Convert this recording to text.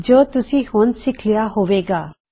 ਜੋ ਤੁਸੀ ਹੁਣ ਸਿੱਖ ਲਿਆ ਹੋਵੇ ਗਾ